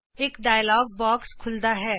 ਇਕ dialogue box ਖੁੱਲ੍ਹਦਾ ਹੈ